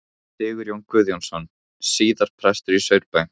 Sigurjón Guðjónsson, síðar prestur í Saurbæ.